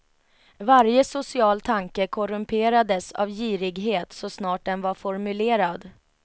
Varje social tanke korrumperades av girighet så snart den var formulerad.